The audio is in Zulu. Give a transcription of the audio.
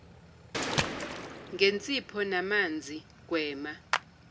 ngensipho namanzi gwema